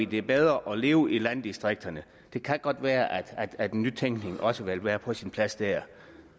det bedre at leve i landdistrikterne det kan godt være at at nytænkning også vil være på sin plads der